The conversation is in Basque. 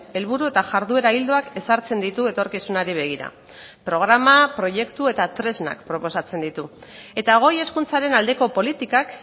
helburu eta jarduera ildoak ezartzen ditu etorkizunari begira programa proiektu eta tresnak proposatzen ditu eta goi hezkuntzaren aldeko politikak